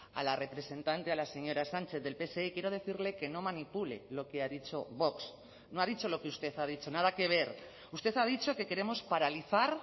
a la representante a la señora sánchez del pse quiero decirle que no manipule lo que ha dicho vox no ha dicho lo que usted ha dicho nada que ver usted ha dicho que queremos paralizar